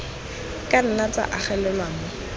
ka nna tsa agelelwa mo